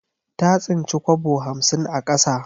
Ta tsinci kwabo hamsin a ƙasa.